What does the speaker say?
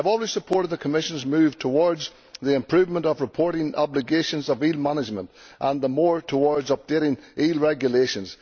I have always supported the Commission's move towards the improvement of reporting obligations on eel management and the move towards updating eel regulations.